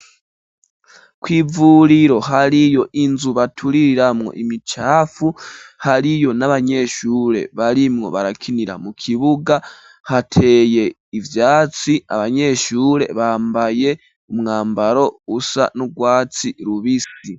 kw'ivuriro hariyo inzu baturiramwo imicafu, hariyo n'abanyeshure barimwo barakinira mu kibuga hateye ivyatsi, abanyeshure bambaye umwambaro usa n'urwatsi rubisi.